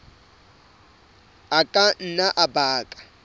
a ka nna a baka